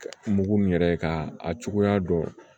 Mugu min yɛrɛ ye k'a a cogoya dɔn